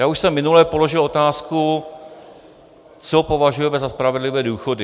Já už jsem minule položil otázku, co považujete za spravedlivé důchody.